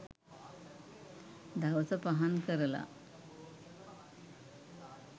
දවස පහන් කරලා